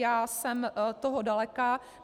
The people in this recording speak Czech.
Já jsem toho daleka.